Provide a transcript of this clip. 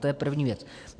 To je první věc.